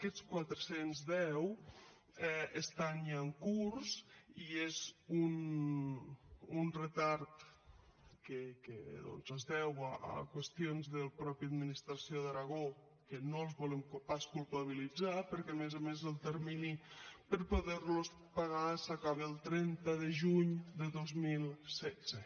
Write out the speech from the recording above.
aquests quatre cents i deu estan ja en curs i és un retard que es deu a qüestions de la mateixa administració de l’aragó que no els volem pas culpabilitzar perquè a més a més el termini per poder los pagar s’acaba el trenta de juny de dos mil setze